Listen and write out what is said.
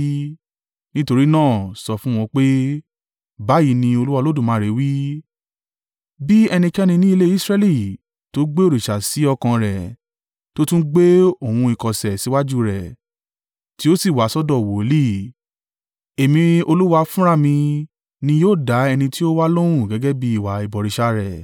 Nítorí náà, sọ fún wọn pé, ‘Báyìí ni Olúwa Olódùmarè wí: Bí ẹnikẹ́ni ní ilé Israẹli tó gbé òrìṣà sí ọkàn rẹ̀, tó tún gbé ohun ìkọ̀sẹ̀ síwájú rẹ̀, tí ó sì wá sọ́dọ̀ wòlíì, Èmi Olúwa fúnra mi ni yóò dá ẹni tí ó wa lóhùn gẹ́gẹ́ bí ìwà ìbọ̀rìṣà rẹ.